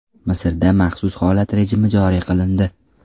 Misrda maxsus holat rejimi joriy qilindi.